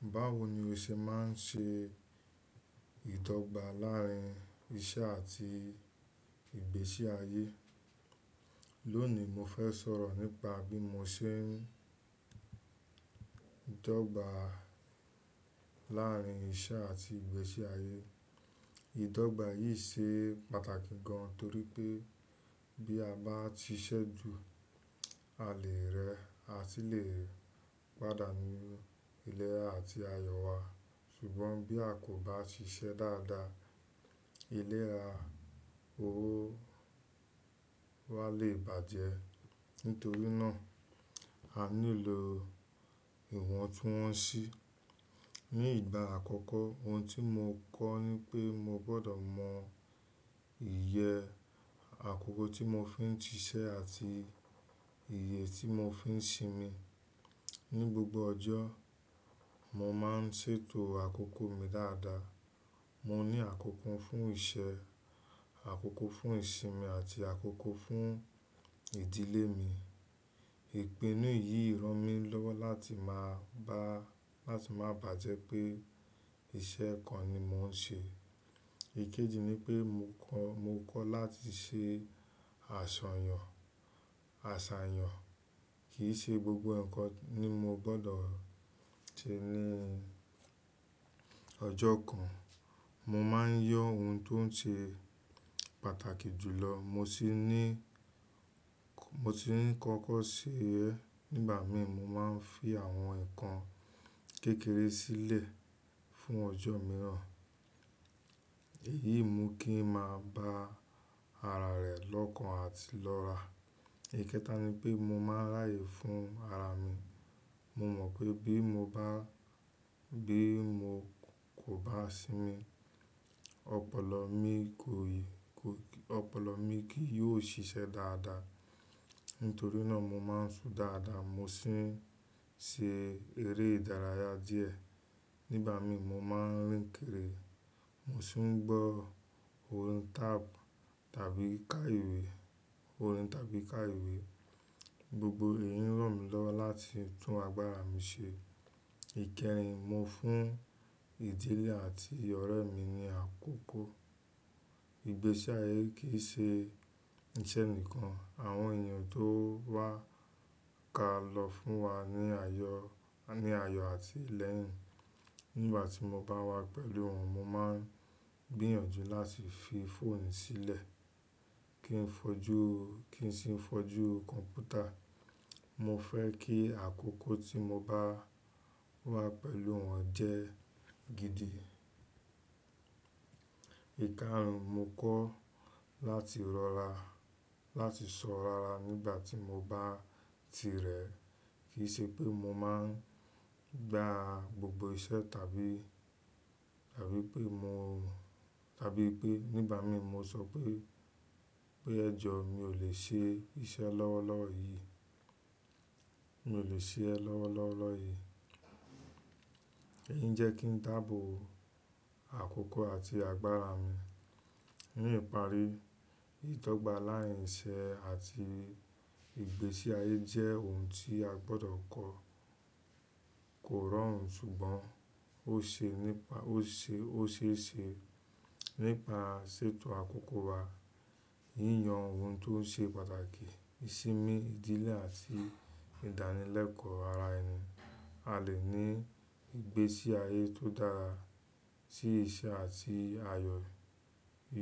Báwo ni o ṣe máa ń ṣe ìdọ́gba láàárín iṣẹ́ àti ìgbésí ayé? Lónìí, mo fẹ́ sọ̀rọ̀ nípa bí mo ṣe ń ìdọ́gba láàárín iṣẹ́ àti ìgbésí ayé. Ìdọ́gba yìí ṣe pàtàkì gan torí pé bí a bá ṣiṣẹ́ ju, a lè rẹ́ àti lè pàdánù ilẹ̀ àti ayọ̀ wa. Ṣùgbọ́n bí a kò bá ṣiṣẹ́ dáadáa, ilé ra, owó wa lè bàjẹ́. Nítorí náà, a nílò ìwọntúnwọnsí. Ni ìgbà àkọ́kọ́, ohun tí mo kọ́ ni pé mo gbọ́dọ̀ mọ iyẹ àkókò tí mo fi ń ṣiṣẹ́ àti iye tí mo fi ń sinmi. Ni gbogbo ọjọ́, mo máa ń ṣètò àkókò mi dáadáa. Mo ní àkókò fún iṣẹ́, àkókò fún ìsinmi àti àkókò fún ìdílé mi. Ìpinnu yìí ràn mí lọ́wọ́ láti má baa bàjẹ́ pé iṣẹ́ kan ni mo ń ṣe. Ìkejì ni pé mo kọ́ mo kọ́ láti ṣe àsọyàn àsàyàn. Kì í ṣe gbogbo ǹkan ni mo gbọ́dọ̀ ṣe ní ọjọ́ kan. Mo máa ń yọ ohun tó ṣe pàtàkì jù lọ, mo tì ń kọ́kọ́ ṣe ẹ. Nígbà mí, mo máa ń fi àwọn ǹkan kékeré sílẹ̀ fún ọjọ́ mìíràn. Èyí mú kí ń máa bá ara rẹ lọ́kàn àti lọ́ra. Ìkéta ni pé mo máa ráyè fún ara mi. Mo mọ̀ pé bí mo kò bá sinmi, ọpọlọ mi kì yóò ṣiṣẹ́ dáadáa. Nítorí náà, mo máa ń ṣú dáadáa, mo sì ń ṣe eré ìdárayá díẹ̀. Nígbà mí, mo máa ń rìn kírì, mo sì ń gbọ́ orin tab tàbí ká ìwé. Gbogbo èyí ràn mí lọ́wọ́ láti tún agbára mi ṣe. Ìkẹrin, mo fún ìdílé àti ọ̀rẹ́ mi ni àkókò. Ìgbésí ayé kì í ṣe iṣẹ́ nìkan, àwọn èèyàn tó wà ká lọ fún wa ní ayọ̀ ni ayọ̀ àti ìlẹ̀yìn. Nígbà tí mo bá wà pẹ̀lú wọn, mo máa ń gbìyànjú láti fi fóònù sílẹ̀ kí n fojú kí n sì fojú kọ̀mpútà. Mo fẹ́ kí àkókò tí mo bá wà pẹ̀lú wọn jẹ́ gidi. Ìkarùn, mo kọ́ láti lọ láti sọ́rara nígbà tí mo bá tirẹ̀. Kì í ṣe pé mo máa ń gbá gbogbo iṣẹ́. Nígbà mí, mo sọ pé pe"ẹ̀jọ̀, mi ò lè ṣe iṣẹ́ lọ́wọ́lọ́wọ́ yìí." Èyí ń jẹ́ kí n dáàbò àkókò àti agbára mi. Ní ìparí, ìdọ́gba láàárín iṣẹ́ àti ìgbésí ayé jẹ́ ohun tí a gbọ́dọ̀ kọ́. Kò rọrùn, ṣùgbọ́n ó ṣe ni pa, ó ṣe ó ṣe ṣe nípa ṣètò àkókò wa, yíyan ohun tó ṣe pàtàkì, ìsinmi ìdílé àti ìdánilẹ́kọ̀ọ́ ara ẹni. A lè ní ìgbésí ayé tó dára tí iṣẹ́ àti ayọ̀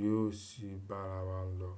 yóò sì bá ara wa lọ.